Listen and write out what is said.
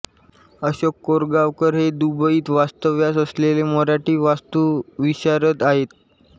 अशोक कोरगावकर हे दुबईत वास्तव्यास असलेले मराठी वास्तुविशारद आहेत